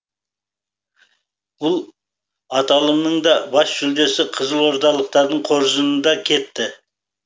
бұл аталымның да бас жүлдесі қызылордалықтардың қоржынында кетті